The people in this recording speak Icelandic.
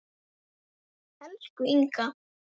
Elsku Inga.